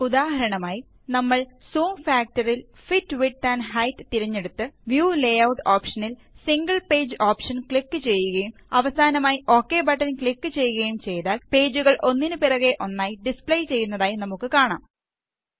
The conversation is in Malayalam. ഉദാഹരണമായി നമ്മള് ജൂം factorല് ഫിറ്റ് വിഡ്ത് ആൻഡ് ഹെയ്റ്റ് തിരഞ്ഞെടുത്ത് വ്യൂ ലേയൂട്ട് ഓപ്ഷനില് സിംഗിൾ പേജ് ഓപ്ഷന് ക്ലിക് ചെയ്യുകയും അവസാനമായി ഒക് ബട്ടണ് ക്ലിക് ചെയ്യുകയും ചെയ്താല് പേജുകള് ഒന്നിന് പിറകെ ഒന്നായി ഡിസ്പ്ലേ ചെയ്യുന്നതായി നമുക്ക് കാണാം